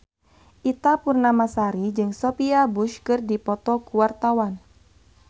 Ita Purnamasari jeung Sophia Bush keur dipoto ku wartawan